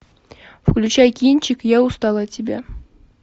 включай кинчик я устала от тебя